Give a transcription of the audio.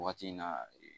Waati in na